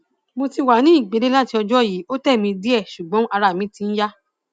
mo ti wá ní ìgbẹlẹ láti ọjọ yìí ó tẹ mí díẹ ṣùgbọn ara mi ti ń yá